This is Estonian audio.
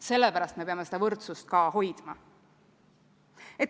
Sellepärast me peame seda võrdsust ka hoidma.